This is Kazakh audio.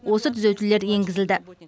осы түзетулер енгізілді